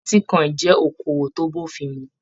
Bitíkọ̀in jẹ okoowó to b'ofin mú.